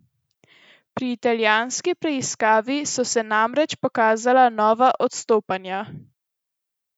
Pri italijanski preiskavi so se namreč pokazala nova odstopanja.